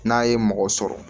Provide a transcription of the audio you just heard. N'a ye mɔgɔ sɔrɔ